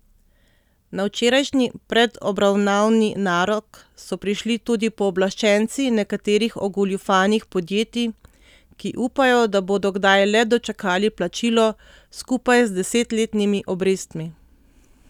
Na včerajšnji predobravnavni narok so prišli tudi pooblaščenci nekaterih ogoljufanih podjetij, ki upajo, da bodo kdaj le dočakali plačilo, skupaj z desetletnimi obrestmi.